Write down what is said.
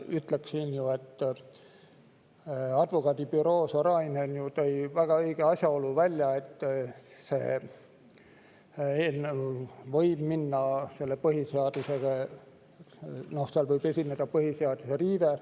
Ma ütleks, et Advokaadibüroo Sorainen tõi välja väga õige asjaolu, et eelnevalt võis seal esineda põhiseaduse riive.